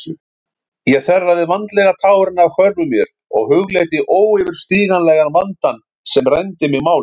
Ég þerraði vandlega tárin af hvörmum mér og hugleiddi óyfirstíganlegan vandann sem rændi mig máli.